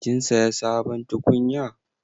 Kin saya sabon tukunya?